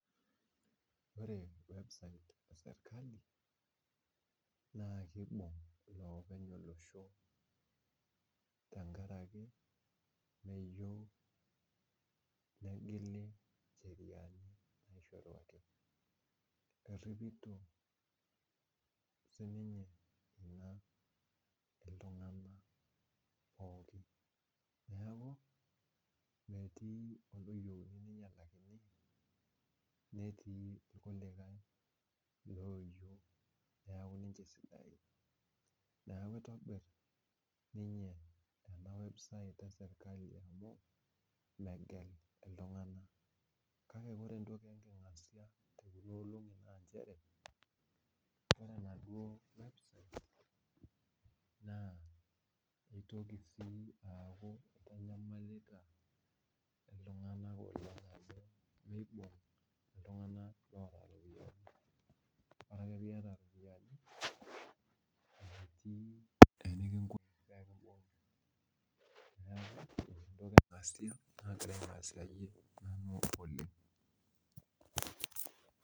Ore website e serikali naa kiibung iloopeny olosho tenkaraki meyieu negili incheriani naishoru wakenya. Erripito siininye naa iltung'anak pookin, neeku metii oloyieuni ninyalakini netii irkulikae looyieu neeku ninche sidain. Neeku itobirr ninye ena website e serikali amu megel iltung'anak kake ore entoki enking'asia te kuna olong'i naa nchere ore enaduo website naa itoki sii aaku itanyamalita iltung'anak oleng amu miibung iltung'anak oota iropiyiani. Ore ake piiyata iropiyiani, metii enekinkuni pee kimbung'i. Neeku entoki e nking'asia naagira aing'asiyie nanu oleng